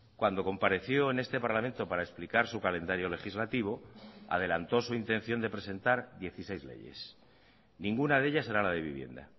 cuando compareció en este parlamento para explicar su calendario legislativo adelantó su intención de presentar dieciséis leyes ninguna de ellas era la de vivienda